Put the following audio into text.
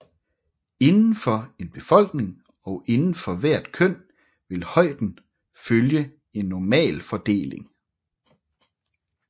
Indenfor en befolkning og indenfor hvert køn vil højden følge en normalfordeling